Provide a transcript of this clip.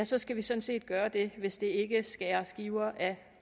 så skal vi sådan set gøre det hvis det ikke skærer skiver af